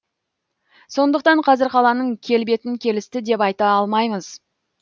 сондықтан қазір қаланың келбетін келісті деп айта алмаймыз